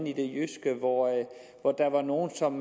i det jyske hvor der var nogle som